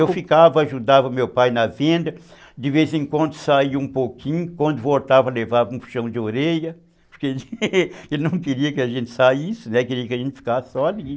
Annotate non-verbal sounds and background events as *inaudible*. Eu ficava, ajudava meu pai na venda, de vez em quando saia um pouquinho, quando voltava levava um puxão de orelha, *laughs* porque ele não queria que a gente saísse, né, queria que a gente ficasse só ali.